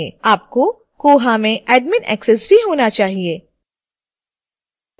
आपको koha में admin access भी होना चाहिेए